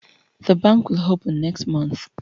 The bank will open mext month